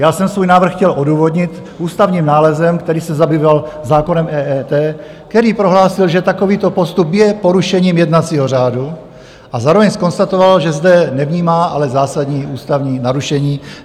Já jsem svůj návrh chtěl odůvodnit ústavním nálezem, který se zabýval zákonem EET, který prohlásil, že takovýto postup je porušením jednacího řádu, a zároveň zkonstatoval, že zde nevnímá ale zásadní ústavní narušení.